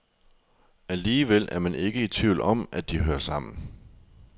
Alligevel er man ikke i tvivl om, at de hører sammen.